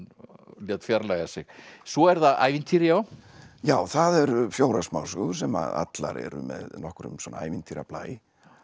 lét fjarlægja sig svo eru það ævintýri já já það eru fjórar smásögur sem allar eru með nokkrum svona ævintýrablæ